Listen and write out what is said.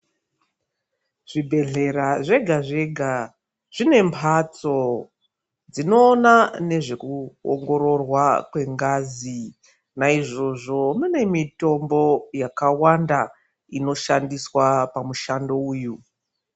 Zvibhedhlera zvega zvega zvinembatso dzinoona nezvekuongororwa kwengazi naizvozvo mune mitombo yakawanda inoshandiswa pamushando uyu.